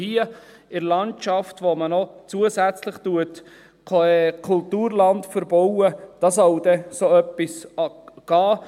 Hier in der Landschaft, wo man noch zusätzlich Kulturland verbaut, da soll dann so etwas gehen.